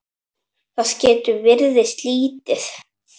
Það getur virst lítið.